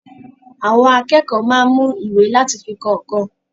Àwọn akẹ́kọ̀ọ́ máa ń mú ìwé láti fi kọ nǹkan.